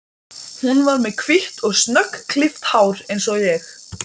Nokkrir fóru, þeim leist ekki á áætlanirnar.